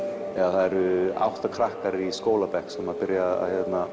það eru átta krakkar í skóla sem byrja að